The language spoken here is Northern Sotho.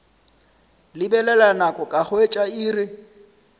lebelela nako ka hwetša iri